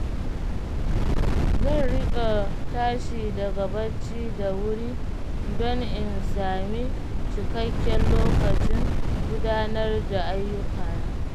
Zan riƙa tashi daga bacci da wuri don in sami cikakken lokacin gudanar da ayyukana.